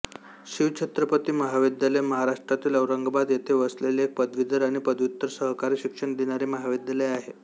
शिवछत्रपती महाविद्यालय महाराष्ट्रातील औरंगाबाद येथे वसलेले एक पदवीधर आणि पदव्युत्तर सहकारी शिक्षण देणारे महाविद्यालय आहे